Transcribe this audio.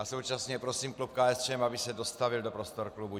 A současně prosím klub KSČM, aby se dostavil do prostor klubu.